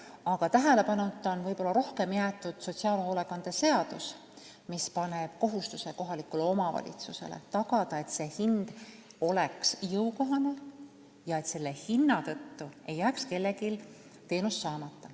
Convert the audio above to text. Enamasti on aga tähelepanuta jäetud sotsiaalhoolekande seadus, mis paneb kohalikule omavalitsusele kohustuse tagada, et teenuse hind oleks jõukohane ja et hinna tõttu ei jääks kellelgi teenus saamata.